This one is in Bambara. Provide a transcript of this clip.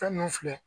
Fɛn ninnu filɛ